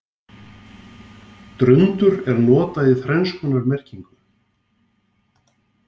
Drundur er notað í þrenns konar merkingu.